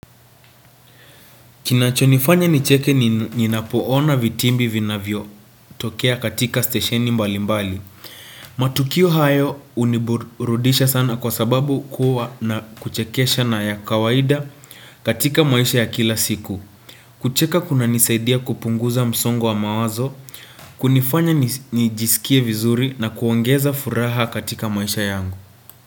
Kinachonifanya nicheke ninapoona vitimbi vinavyotokea katika stesheni mbali mbali. Matukio hayo huniburudisha sana kwa sababu huwa na kuchekesha na ya kawaida katika maisha ya kila siku. Kucheka kuna nisaidia kupunguza msongo wa mawazo, kunifanya nijisikie vizuri na kuongeza furaha katika maisha yangu.